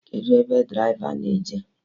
Kedụ ebe draịva na-eje?